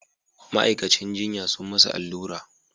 Ma'aikacin jinya sun masa allura